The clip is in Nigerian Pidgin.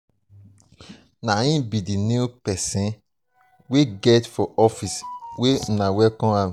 i hear say na triplet your wife born after una do go search for pikin.